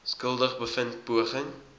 skuldig bevind poging